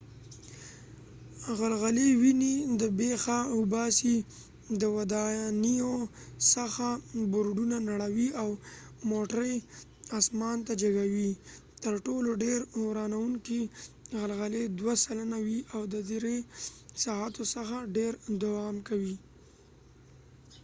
غلغلی ونی د بیخه وباسی ،د ودانیو څخه بورډونه نړوي ،او موټری اسمان ته جګوي . تر ټولو ډیر ورانوونکې غلغلی دوه سلنه وي او د درې ساعتو څخه ډیر دوام کوي